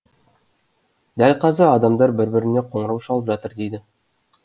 дәл қазір адамдар бір біріне қоңырау шалып жатыр дейді